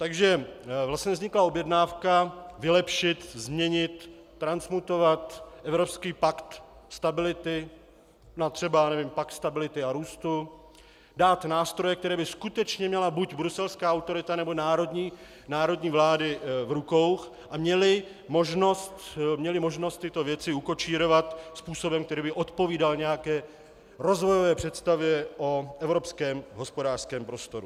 Takže vlastně vznikla objednávka vylepšit, změnit, transmutovat evropský Pakt stability na třeba Pakt stability a růstu, dát nástroje, které by skutečně měla buď bruselská autorita, nebo národní vlády v rukou a měly možnost tyto věci ukočírovat způsobem, který by odpovídal nějaké rozvojové představě o Evropském hospodářském prostoru.